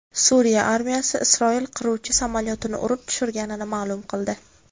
Suriya armiyasi Isroil qiruvchi samolyotini urib tushirganini ma’lum qildi.